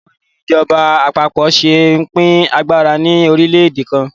Báwo ni ìjọba àpapọ̀ ṣe ń pín agbára ní orílẹ̀-èdè kan?